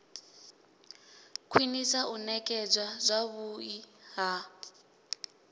khwinisa u nekedzwa zwavhui ha